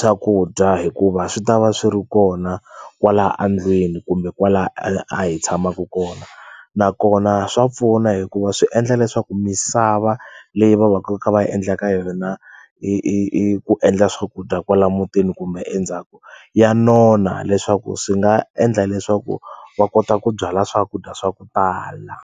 swakudya hikuva swi ta va swi ri kona kwala a ndlwini kumbe kwala a hi tshamaku kona nakona swa pfuna hikuva swi endla leswaku misava leyi va va ku va kha va yi endla ka yona i i i ku endla swakudya kwala mutini kumbe endzhaku ya nona leswaku swi nga endla leswaku va kota ku byala swakudya swa ku tala.